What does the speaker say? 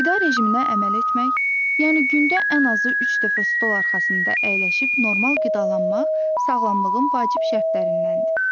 Qida rejiminə əməl etmək, yəni gündə ən azı üç dəfə stol arxasında əyləşib normal qidalanmaq sağlamlığın vacib şərtlərindəndir.